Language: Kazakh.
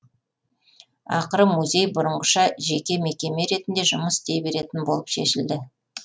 ақыры музей бұрынғыша жеке мекеме ретінде жұмыс істей беретін болып шешілді